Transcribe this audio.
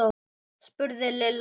spurði Lilla.